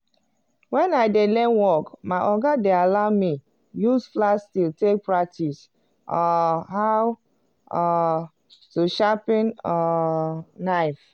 wen i dey learn work my oga dey allow me use flat steel take practice um how um to sharpen um knife.